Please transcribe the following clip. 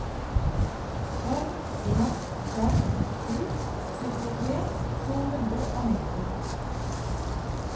fem en fem sju syttitre to hundre og nittito